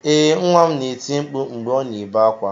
Ee nwa m na-eti mkpu mgbe ọ na-ebe akwa